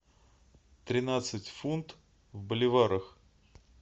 тринадцать фунт в боливарах